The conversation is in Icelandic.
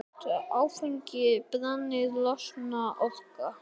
Þegar áfengi brennur losnar orka.